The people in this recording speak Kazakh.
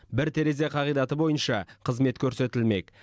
бір терезе қағидаты бойынша қызмет көрсетілмек